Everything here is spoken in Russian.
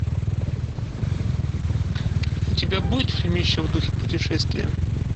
у тебя будет фильмище в духе путешествие